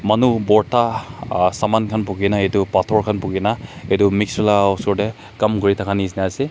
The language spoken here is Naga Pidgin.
Manu porta uh saman khan bukhe kena etu bhator khan bukhe kena etu mixer la usor tey kam kure thake neshna ase.